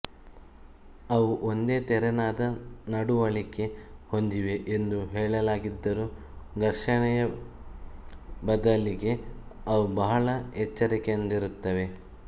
ಅವು ಒಂದೇ ತೆರನಾದ ನಡವಳಿಕೆ ಹೊಂದಿವೆ ಎಂದು ಹೇಳಲಾಗಿದ್ದರೂ ಘರ್ಷಣೆಯ ಬದಲಿಗೆ ಅವು ಬಹಳ ಎಚ್ಚರಿಕೆಯಿಂದಿರುತ್ತವೆ